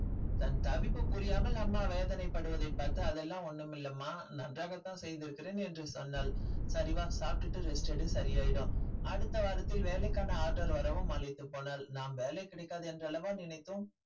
தன் தவிப்பு புரியாமல் அம்மா வேதனைப்படுவதை பார்த்து அதெல்லாம் ஒன்னும் இல்லம்மா நன்றாகத்தான் செய்திருக்கிறேன் என்று சொன்னாள் சரி வா சாப்பிட்டுட்டு rest எடு சரியாயிடும் அடுத்த வாரத்தில் வேலைக்கான order வரவும் மலைத்து போனாள் நாம் வேலை கிடைக்காது என்றல்லவா நினைத்தோம்